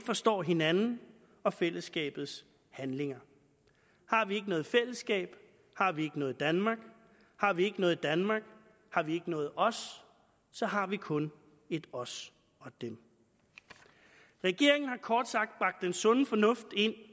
forstår hinanden og fællesskabets handlinger har vi ikke noget fællesskab har vi ikke noget danmark har vi ikke noget danmark har vi ikke noget os så har vi kun et os og dem regeringen har kort sagt bragt den sunde fornuft ind